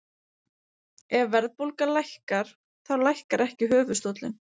Hvað er stærsti gígurinn á Mars stór?